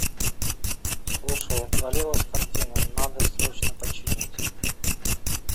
слушай отвалилась картина надо срочно починить